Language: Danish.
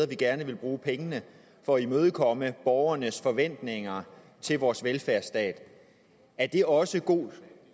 vi gerne vil bruge pengene for at imødekomme borgernes forventninger til vores velfærdsstat er det også god